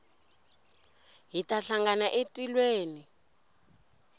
hi ta hlangana etilweni